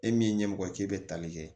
E min ɲɛmɔgɔ k'e bɛ tali kɛ